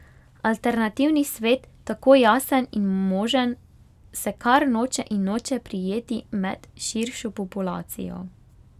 Alternativni svet, tako jasen in možen, se kar noče in noče prijeti med širšo populacijo.